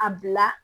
A bila